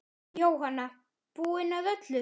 Jóhanna: Búinn að öllu?